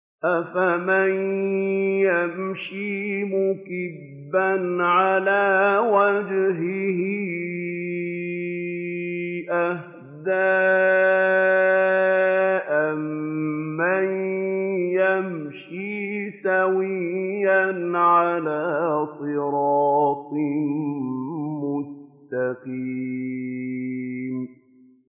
أَفَمَن يَمْشِي مُكِبًّا عَلَىٰ وَجْهِهِ أَهْدَىٰ أَمَّن يَمْشِي سَوِيًّا عَلَىٰ صِرَاطٍ مُّسْتَقِيمٍ